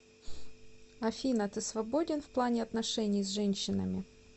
афина ты свободен в плане отношений с женщинами